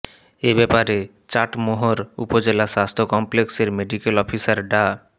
এ ব্যাপারে চাটমোহর উপজেলা স্বাস্থ্য কমপ্লেক্সের মেডিকেল অফিসার ডা